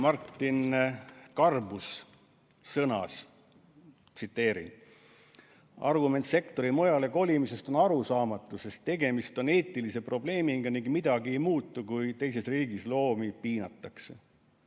Martin Garbuz on öelnud: "Argument sektori mujale kolimisest on arusaamatu, sest tegemist on eetilise probleemiga ning midagi ei muutu, kui teises riigis loomi piinatakse.